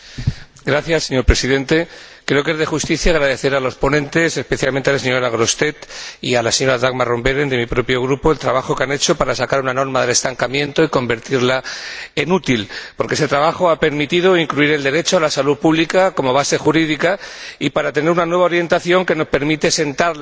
Señor Presidente, creo que es de justicia agradecer a los ponentes, especialmente a la señora Grossetête y a la señora Roth Behrendt, de mi propio Grupo, el trabajo que han hecho para sacar una norma del estancamiento y convertirla en útil, porque este trabajo ha permitido incluir el derecho a la salud pública como base jurídica y tener una nueva orientación que nos permite sentar las bases